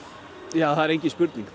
já það er engin spurning